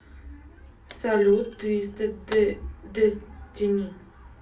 салют твистед дестини